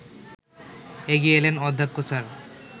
এগিয়ে এলেন অধ্যক্ষ স্যার